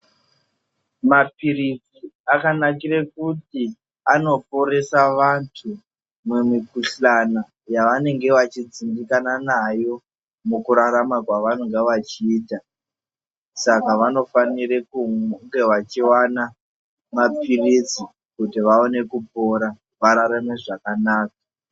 Mapilizi akanakire kuti anoporesa vantu mumikhuhlani yavanenge vachidzimbikanaa nayo mukurarama kwavanonga vachiita saka vanofanire kunge vachiona mapilizi kuti vaone kupora vararame zvakanaka